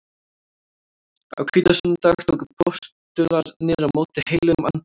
Á hvítasunnudag tóku postularnir á móti heilögum anda.